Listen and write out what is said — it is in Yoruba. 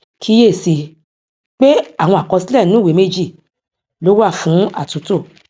kíyèsí i pé àwọn àkọsílẹ inu ìwé méjì lo wà fún àtúntò